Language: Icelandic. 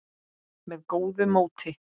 með góðu móti.